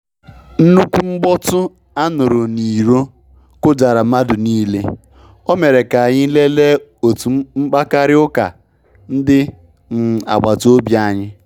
Nṅkwụ mgbọtụ anụru n'iro kụjara madụ nịle, o mere ka anyị lelee otu mkpakarị ụka ndị um agbata obị anyị.